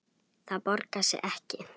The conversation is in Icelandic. Það borgar sig ekki